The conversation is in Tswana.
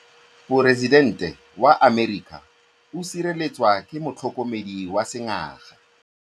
Poresitêntê wa Amerika o sireletswa ke motlhokomedi wa sengaga.